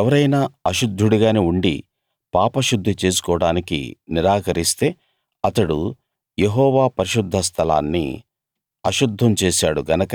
ఎవరైనా అశుద్ధుడుగానే ఉండి పాపశుద్ధి చేసుకోడానికి నిరాకరిస్తే అతడు యెహోవా పరిశుద్ధ స్థలాన్ని అశుద్ధం చేశాడు గనక